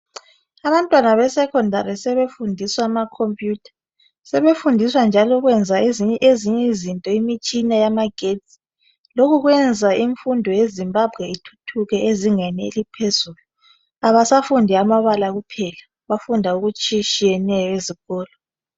Abantwana beSekhondari sebefundiswa amakhompiyutha, sebefundiswa njalo ukwenza ezinye izinto imitshina yamagetsi. Lokhu kwenza imfundo yeZimbabwe ithuthuke ezingeni eliphezulu, abasafundi amabala kuphela. Bafunda okutshiyetshiyeneyo ezikolo.